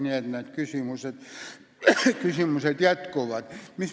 Nii et need küsimused on jätkuvalt päevakorral.